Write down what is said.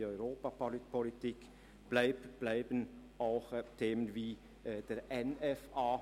Die Europapolitik bleibt weiterhin ein Schwerpunkt, ebenso Themen wie der NFA.